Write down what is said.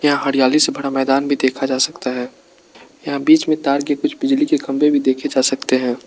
यहां हरियाली से भरा मैदान भी देखा जा सकता है यहां बीच में तार के कुछ बिजली के खंभे भी देखे जा सकता है।